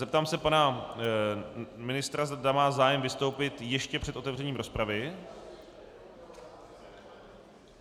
Zeptám se pana ministra, zda má zájem vystoupit ještě před otevřením rozpravy.